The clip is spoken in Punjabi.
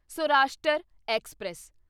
ਸੌਰਾਸ਼ਟਰ ਐਕਸਪ੍ਰੈਸ